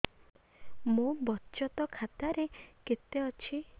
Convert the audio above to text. ମୋ ବଚତ ଖାତା ରେ କେତେ ଅଛି